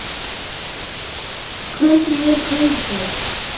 Hvernig er kaupið?